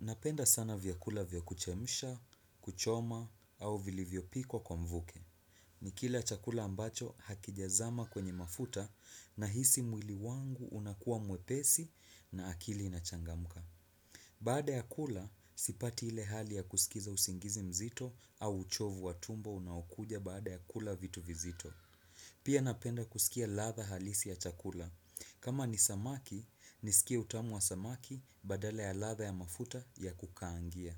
Napenda sana vyakula vya kuchemsha, kuchoma, au vilivyo pikwa kwa mvuke. Nikila chakula ambacho hakijazama kwenye mafuta, nahisi mwili wangu unakuwa mwepesi na akili inachangamka. Baada ya kula, sipati ile hali ya kuskiza usingizi mzito au uchovu wa tumbo unaokuja baada ya kula vitu vizito. Pia napenda kuskia ladha halisi ya chakula. Kama ni samaki, niskie utamu wa samaki badala ya ladha ya mafuta ya kukaangia.